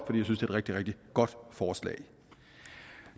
rigtig rigtig godt forslag